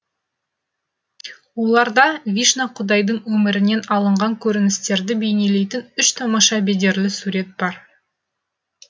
оларда вишна құдайдың өмірінен алынған көріністерді бейнелейтін үш тамаша бедерлі сурет бар